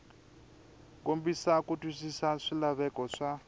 kombisa ku twisisa swilaveko swa